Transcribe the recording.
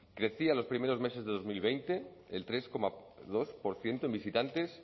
crecía los primeros meses de dos mil veinte el tres coma dos por ciento en visitantes